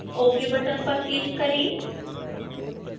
ok button पर click करें